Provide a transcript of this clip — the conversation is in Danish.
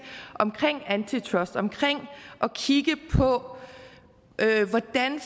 omkring antitrust omkring at kigge på hvordan